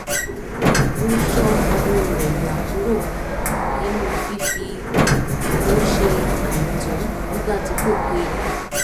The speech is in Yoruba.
ó ṣọ́ owó rẹ̀ yà kúrò nínú fífi owó ṣe àìtọ́ nígbà tí kò péye